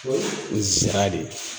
nsira de